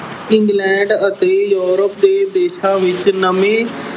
England ਅਤੇ Europe ਦੇ ਦੇਸ਼ਾਂ ਵਿੱਚ ਨਵੇਂ